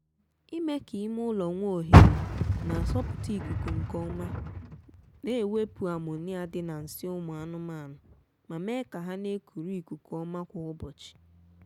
ime ka ime ụlọ nwee ohere na-asọpụta ikuku nkeọma na-ewepụ ammonia dị na nsị ụmụ anụmaanụ ma mee ka ha na-ekuru ikuku ọma kwa ụbọchị